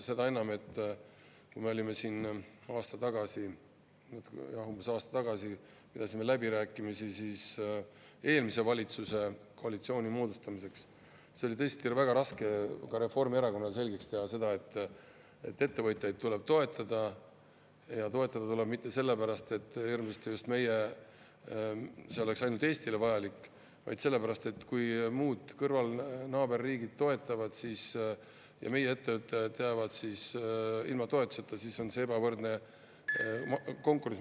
Seda enam, et kui me siin umbes aasta tagasi pidasime läbirääkimisi eelmise valitsuskoalitsiooni moodustamiseks, siis oli tõesti väga raske ka Reformierakonnale selgeks teha seda, et ettevõtjaid tuleb toetada, ja mitte sellepärast, et see oleks ainult Eestile vajalik, vaid sellepärast, et kui muud kõrval, naaberriigid toetavad ja meie ettevõtjad jäävad ilma toetuseta, siis on see ebavõrdne konkurents.